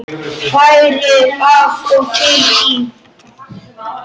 Hrærið af og til í.